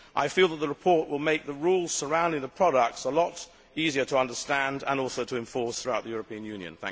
I feel that the report will make the rules surrounding the products a lot easier to understand and also to enforce throughout the European Union.